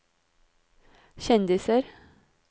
kjendiser